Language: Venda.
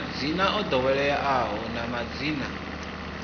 madzina o ḓoweleaho na madzina